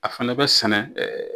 A fana bɛ sɛnɛ